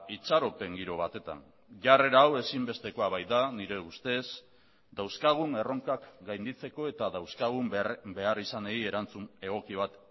itxaropen giro batetan jarrera hau ezinbestekoa baita nire ustez dauzkagun erronkak gainditzeko eta dauzkagun beharrizanei erantzun egoki bat